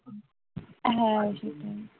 হ্যাঁ সেটাই